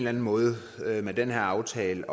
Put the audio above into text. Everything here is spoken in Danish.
anden måde med den her aftale